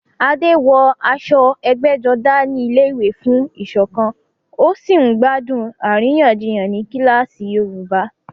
Adé wọ aṣọ ẹgbẹ́jọdá ní ilé-ìwé fún ìṣọ̀kan, ó sì ń gbádùn àríyànjiyàn ní kíláàsì Yorùbá.